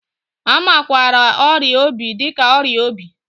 A makwaara ọrịa obi dị ka ọrịa obi.